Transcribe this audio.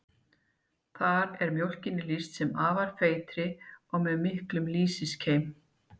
Þar er mjólkinni lýst sem afar feitri og með miklum lýsiskeim.